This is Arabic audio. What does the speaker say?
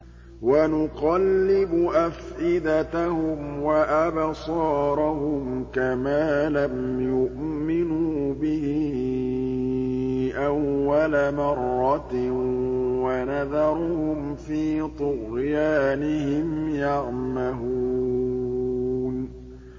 وَنُقَلِّبُ أَفْئِدَتَهُمْ وَأَبْصَارَهُمْ كَمَا لَمْ يُؤْمِنُوا بِهِ أَوَّلَ مَرَّةٍ وَنَذَرُهُمْ فِي طُغْيَانِهِمْ يَعْمَهُونَ